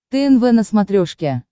тнв на смотрешке